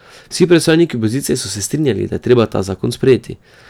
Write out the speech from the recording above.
Vsi predstavniki opozicije so se strinjali, da je treba ta zakon sprejeti.